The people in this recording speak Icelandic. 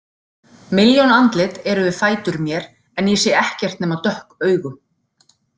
Milljón andlit eru við fætur mér en ég sé ekkert nema dökk augu.